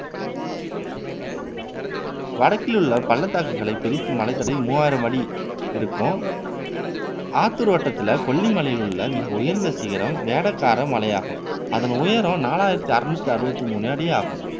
வடக்கில் உள்ள பள்ளத்தாக்குகளை பிரிக்கும் மலைத்தொடர் மூவாயிரம் அடி இருக்கும் ஆத்தூர் வட்டத்துல கொல்லி மலையிலுள்ள மிக உயர்ந்த சிகரம் வேடக்கார மலையாகும். அதன் உயரம் நாலாயிரத்து அருநூற்று அறுபத்து மூன்று அடி ஆகும்